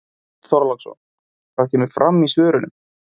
Björn Þorláksson: Það kemur fram í svörunum?